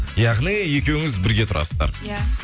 яғни екеуіңіз бірге тұрасыздар иә